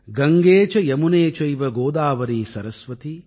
கங்கே ச யமுனே சைவ கோதாவரீ சரஸ்வதி